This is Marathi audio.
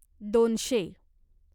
दोनशे